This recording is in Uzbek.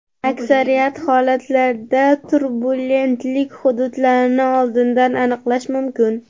Aksariyat holatlarda turbulentlik hududlarini oldindan aniqlash mumkin.